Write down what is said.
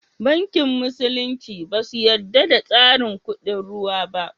Banki musulunci ba su yadda da tsarin kuɗin ruwa ba